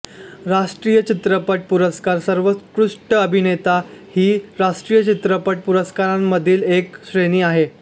राष्ट्रीय चित्रपट पुरस्कार सर्वोत्कृष्ट अभिनेता हि राष्ट्रीय चित्रपट पुरस्कारांमधील एक श्रेणी आहे